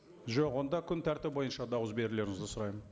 жоқ онда күн тәртібі бойыша дауыс берулеріңізді сұраймын